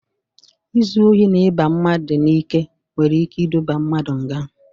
Izu ohi na iba mmadụ n'ike nwere ike iduba mmadụ nga.